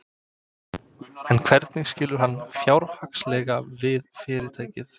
En hvernig skilur hann fjárhagslega við fyrirtækið?